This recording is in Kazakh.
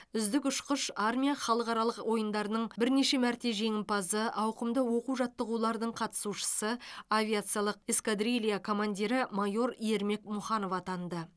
үздік ұшқыш армия халықаралық ойындарының бірнеше мәрте жеңімпазы ауқымды оқу жаттығулардың қатысушысы авиациялық эскадрилья командирі майор ермек мұханов атанды